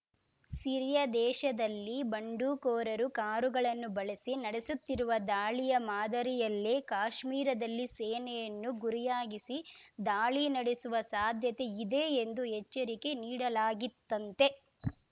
Syria ದೇಶದಲ್ಲಿ ಬಂಡುಕೋರರು ಕಾರುಗಳನ್ನು ಬಳಸಿ ನಡೆಸುತ್ತಿರುವ ದಾಳಿಯ ಮಾದರಿಯಲ್ಲೇ ಕಾಶ್ಮೀರದಲ್ಲಿ ಸೇನೆಯನ್ನು ಗುರಿಯಾಗಿಸಿ ದಾಳಿ ನಡೆಸುವ ಸಾಧ್ಯತೆ ಇದೆ ಎಂದು ಎಚ್ಚರಿಕೆ ನೀಡಲಾಗಿತ್ತಂತೆ